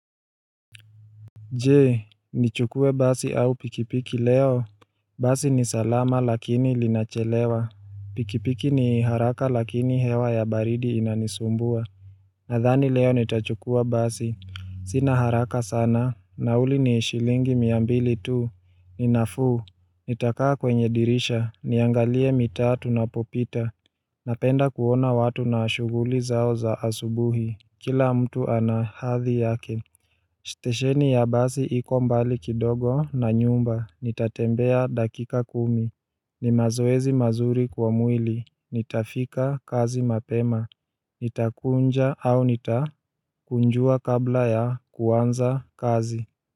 Je, nichukue basi au pikipiki leo? Basi ni salama lakini linachelewa Pikipiki ni haraka lakini hewa ya baridi inanisumbua Nadhani leo nitachukua basi Sina haraka sana, nauli ni shilingi mia mbili tu, ninafuu Nitakaa kwenye dirisha, niangalie mitaa tunapopita Napenda kuona watu na shughuli zao za asubuhi Kila mtu anahathi yake Stesheni ya basi iko mbali kidogo na nyumba, nitatembea dakika kumi ni mazoezi mazuri kwa mwili, nitafika kazi mapema, nitakunja au nitakunjua kabla ya kuanza kazi.